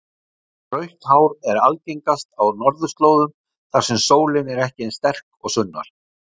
Rautt hár er algengast á norðurslóðum þar sem sólin er ekki eins sterk og sunnar.